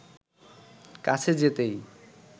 কাছে যেতেই